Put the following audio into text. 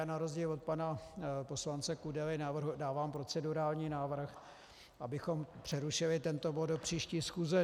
Já na rozdíl od pana poslance Kudely dávám procedurální návrh, abychom přerušili tento bod do příští schůze.